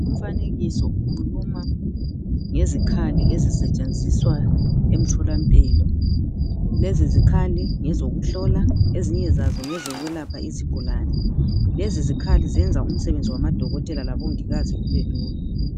Umfanekiso ukhuluma ngezikhali ezisetshenziswa emtholampilo. Lezi izikhali ngezokuhlola ezinye zazo ngezokulapha izigulane. Lezi izikhali zenza umsebenzi wabodokotela labomongikazi ubelula.